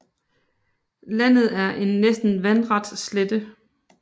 Landet er en næsten vandret slette